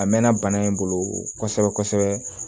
A mɛnna bana in bolo kosɛbɛ kosɛbɛ